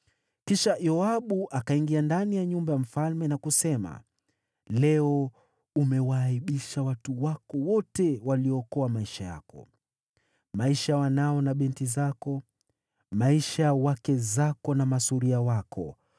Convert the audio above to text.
Kisha Yoabu akaingia ndani ya nyumba ya mfalme na kusema, “Leo umewaaibisha watu wako wote, waliookoa maisha yako, maisha ya wanao na binti zako, maisha ya wake zako na masuria wako.